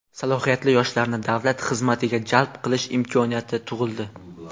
salohiyatli yoshlarni davlat xizmatiga jalb qilish imkoniyati tug‘ildi.